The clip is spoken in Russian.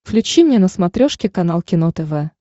включи мне на смотрешке канал кино тв